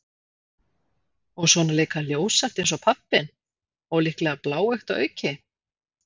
Og svona líka ljóshært eins og pabbinn- og líklega bláeygt að auki.